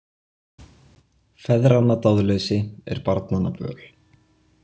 Feðranna dáðleysi er barnanna böl.